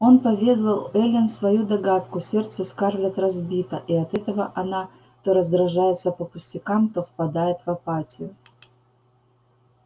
он поведал эллин свою догадку сердце скарлетт разбито и от этого она то раздражается по пустякам то впадает в апатию